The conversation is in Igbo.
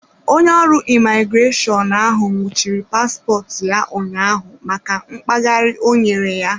Onye ọrụ imigreshọnụ ahụ nwụchiri paspọtụ ya ụnyaahụ maka mkpaghari ọ nyere ya.